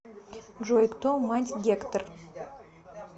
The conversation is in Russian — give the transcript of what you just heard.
джой кто мать гектор